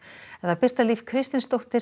Birta Líf Kristinsdóttir